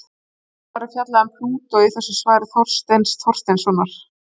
Nánar er fjallað um Plútó í þessu svari Þorsteins Þorsteinssonar.